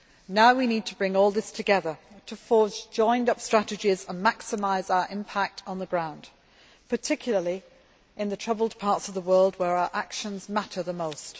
Now we need to bring all this together, to forge joined up strategies and maximise our impact on the ground, particularly in the troubled parts of the world where our actions matter the most.